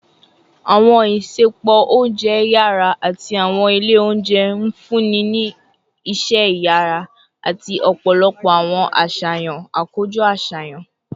Awọn isẹpo ounjẹ yara ati awọn ile ounjẹ nfunni ni iṣẹ iyara ati ọpọlọpọ awọn aṣayan akojọ aṣayan